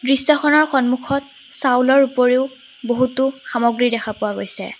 দৃশ্যখনৰ সন্মুখত চাউলৰ উপৰিও বহুতো সামগ্ৰী দেখা পোৱা গৈছে।